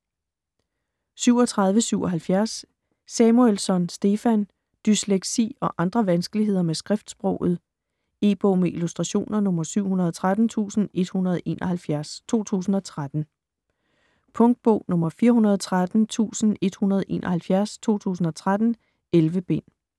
37.77 Samuelsson, Stefan: Dysleksi og andre vanskeligheder med skriftsproget E-bog med illustrationer 713171 2013. Punktbog 413171 2013. 11 bind.